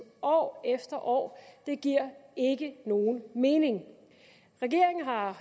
år efter år giver ikke nogen mening regeringen har